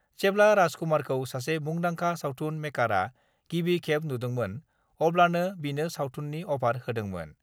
जेब्ला राज कुमारखौ सासे मुंदांखा सावथुन मेकारआ गिबि खेब नुदोंमोन अब्लानो बिनो सावथुननि अफार होदोमोन।